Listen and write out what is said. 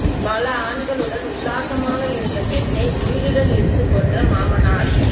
பல ஆண்களுடன் உல்லாசமாக இருந்த பெண்ணை உயிருடன் எரித்துக் கொன்ற மாமனார்